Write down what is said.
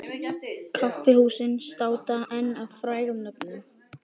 Kaffihúsin státa enn af frægum nöfnum.